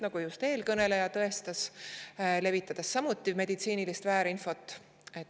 Seda tõestas ka eelkõneleja, kes levitas meditsiinilist väärinfot.